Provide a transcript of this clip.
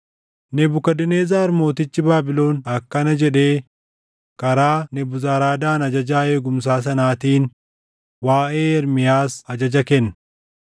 Nebukadnezar mootichi Baabilon akkana jedhee karaa Nebuzaradaan ajajaa eegumsaa sanaatiin waaʼee Ermiyaas ajaja kenne: